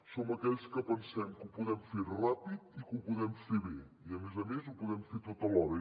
som aquells que pensem que ho podem fer ràpid i que ho podem fer bé i a més a més que ho podem fer tot alhora